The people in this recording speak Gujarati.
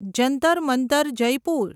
જંતર મંતર જયપુર